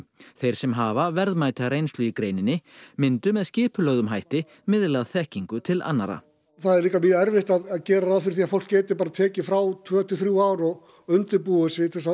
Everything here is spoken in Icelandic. þeir sem hafa verðmæta reynslu í greininni myndu með skipulögðum hætti miðla þekkingu til annarra það er líka mjög erfitt að gera ráð fyrir því að fólk geti bara tekið frá tvö til þrjú ár og undirbúið sig til þess